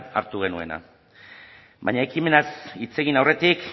hartu genuena baina ekimenaz hitz egin aurretik